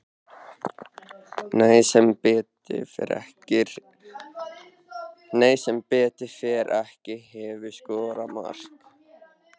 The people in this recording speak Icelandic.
Nei sem betur fer ekki Hefurðu skorað mark?